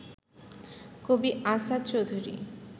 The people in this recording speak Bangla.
কবি আসাদ চৌধুরী